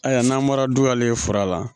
Ayiwa n'an bɔra duwalen fɔlɔ la